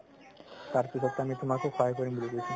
তাৰপিছতো আমি তুমাকো সহায় কৰিম বুলি কৈছে